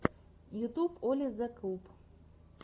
ютуб оли зе куб